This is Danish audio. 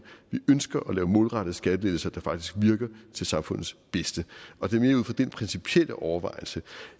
vi ønsker at lave målrettede skattelettelser der faktisk virker til samfundets bedste og det er mere ud fra den principielle overvejelse